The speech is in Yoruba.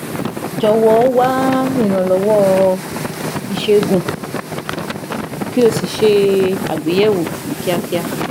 Jọ̀wọ́ wá ìrànlọ́wọ́ ìṣègùn kí o sì ṣe àgbéyẹ̀wò ní kíákíá